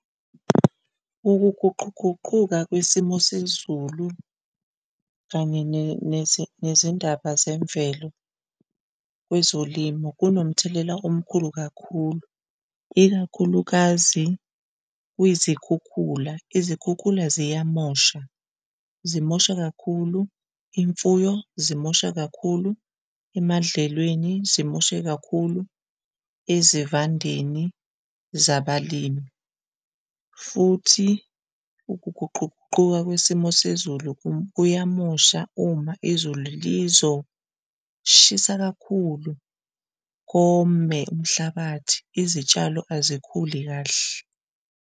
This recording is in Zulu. Ukuguquguquka, kwesimo sezulu kanye nezindaba zemvelo kwezolimo kunomthelela omkhulu kakhulu, ikakhulukazi kwizikhukhula. Izikhukhula ziyamosha, zimosha kakhulu imfuyo, zimosha kakhulu emadlelweni, zimoshe kakhulu ezivandeni zabalimi, futhi ukuguquguquka kwisimo sezulu kuyamosha uma izulu lizoshisa kakhulu kome umhlabathi, izitshalo azikhuli kahle.